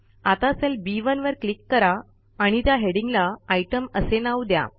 आता सेल बी1 वर क्लिक करा आणि त्या हेडिंगला आयटीईएम असे नाव द्या